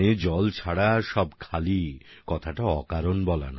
জল ছাড়া সবই শূণ্য কথাটা এমনি বলা হয়নি